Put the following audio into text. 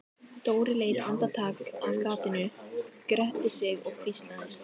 Dóri leit andartak af gatinu, gretti sig og hvíslaði